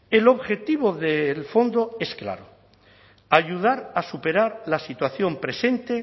el objetivo del fondo es claro ayudar a superar la situación presente